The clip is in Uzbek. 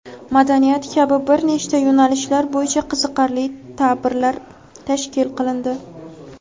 madaniyat kabi bir nechta yo‘nalishlar bo‘yicha qiziqarli tabirlar tashkil qilindi.